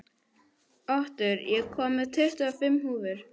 Otur, ég kom með tuttugu og fimm húfur!